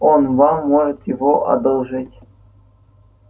он вам может его одолжить